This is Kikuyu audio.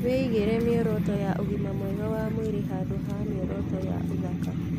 Wĩigĩre mĩoroto ya ũgima mwega wa mwĩrĩ handũ ha mĩoroto ya ũthaka.